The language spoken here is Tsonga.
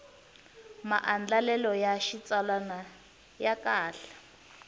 maandlalelo ya xitsalwana ya kahle